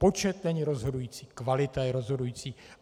Počet není rozhodující, kvalita je rozhodující.